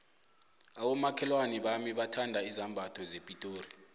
abomakhelwana bami bathanda izambatho zepitori